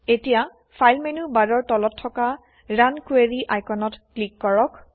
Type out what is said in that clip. এতিয়া file menu বাৰৰ তলত থকা ৰান কুৱেৰি আইকনত ক্লিক কৰক